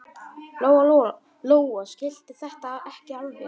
Lóa-Lóa skildi þetta ekki alveg.